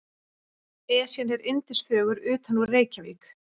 Esjan er yndisfögur utanúr Reykjavík.